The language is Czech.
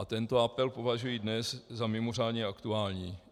A tento apel považuji dnes za mimořádně aktuální.